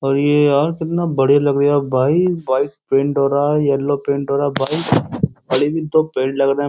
अरे यार कितना बड़िया लग रिया भाई। व्हाइट पैंट हो रहा येलो पैंट हो रहा है भाई। लग रहे --